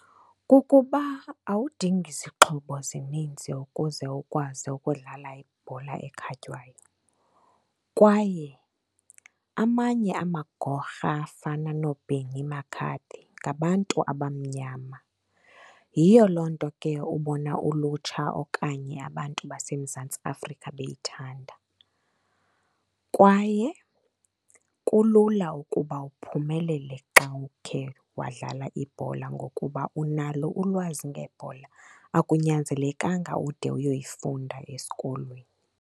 Kukuba awudingi zixhobo zininzi ukuze ukwazi ukudlala ibhola ekhatywayo kwaye amanye amagorha afana noBenny McCarthy ngabantu abamnyama. Yiyo loo nto ke ubona ulutsha okanye abantu baseMzantsi Afrika beyithanda. Kwaye kulula ukuba uphumelele xa ukhe wadlala ibhola, ngokuba unalo ulwazi ngebhola akunyanzelekanga ude uyoyifunda esikolweni.